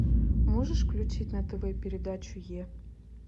можешь включить на тв передачу е